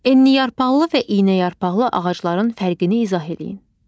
Enliyarpaqlı və iynəyarpaqlı ağacların fərqini izah eləyin.